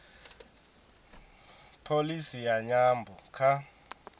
pholisi ya nyambo kha